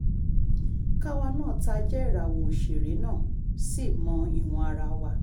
káwa náà tá a jẹ́ ìràwọ̀ òṣèré náà ṣì mọ ìwọ̀n ara wa